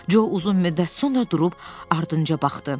Co uzun müddət sonra durub ardınca baxdı.